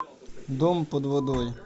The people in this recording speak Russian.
дом под водой